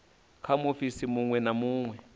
kha muofisi munwe na munwe